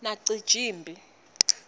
nacijimphi